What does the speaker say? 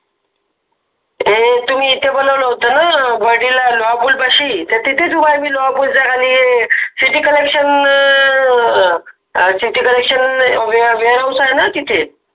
ते तुम्ही इथे बोलावलं होतं ना वाडिला लोहापुल पाशि तिथेच उभा आहे मी लोहापुलच्या खाली आहे, ते city collection city collection wear house आहे न तिथे